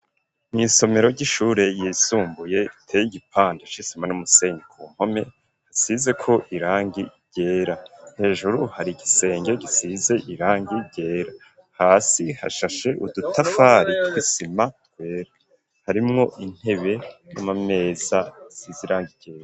Mw'isomero ry'ishure yisumbuye iteye igipande c'isima n'umusenyi ,ku mpome hasizeko irangi ryera, hejuru hari igisenge gisize irangi ryera ,hasi hashashe udutafari tw'isima twera ,harimwo intebe n'amameza zisize irangi ryera.